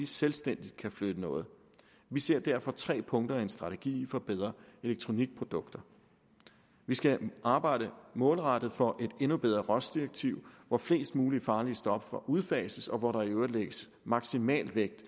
selvstændigt kan flytte noget vi ser derfor tre punkter i en strategi for bedre elektronikprodukter vi skal arbejde målrettet for et endnu bedre rohs direktiv hvor flest mulige farlige stoffer udfases og hvor der i øvrigt lægges maksimal vægt